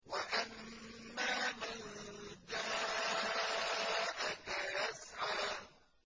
وَأَمَّا مَن جَاءَكَ يَسْعَىٰ